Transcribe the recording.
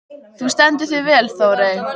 Þú stendur þig vel, Þórey!